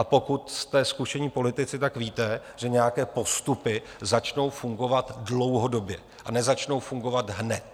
A pokud jste zkušení politici, tak víte, že nějaké postupy začnou fungovat dlouhodobě a nezačnou fungovat hned.